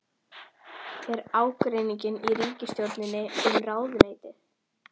Er ágreiningur í ríkisstjórninni um ráðuneytið?